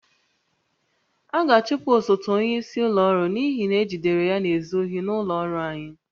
A ga-achụpụ osote onyeisi ụlọ ọrụ n'ihi na ejidere ya na-ezu ohi n'ụlọ ọrụ anyị